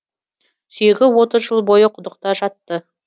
сүйегі отыз жыл бойы құдықта жатты